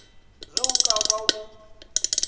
ge o ka ba o